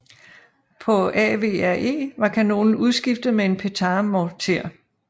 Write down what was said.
På AVRE var kanonen udskiftet med en Petard morter